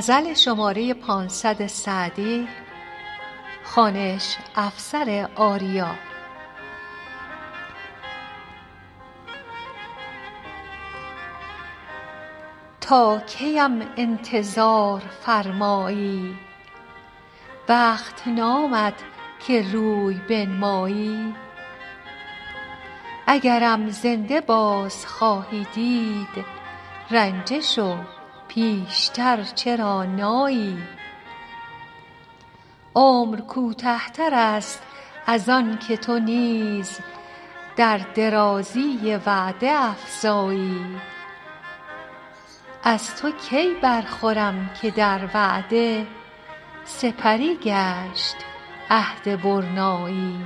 تا کی ام انتظار فرمایی وقت نامد که روی بنمایی اگرم زنده باز خواهی دید رنجه شو پیش تر چرا نایی عمر کوته تر است از آن که تو نیز در درازی وعده افزایی از تو کی برخورم که در وعده سپری گشت عهد برنایی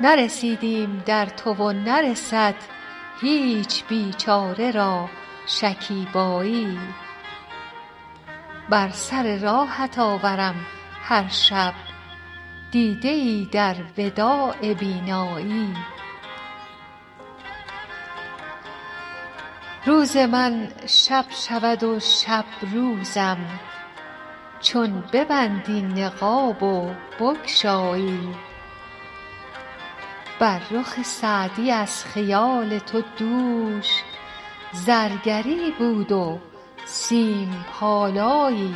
نرسیدیم در تو و نرسد هیچ بیچاره را شکیبایی به سر راهت آورم هر شب دیده ای در وداع بینایی روز من شب شود و شب روزم چون ببندی نقاب و بگشایی بر رخ سعدی از خیال تو دوش زرگری بود و سیم پالایی